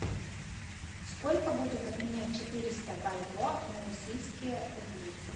сколько будет обменять четыреста бальбоа на российские рубли